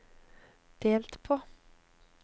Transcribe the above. delt på